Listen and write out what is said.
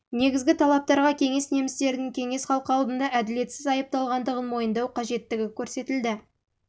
негізгі талаптарға кеңес немістерінің кеңес халқы алдында әділетсіз айыпталғандығын мойындау қажеттігі көрсетілді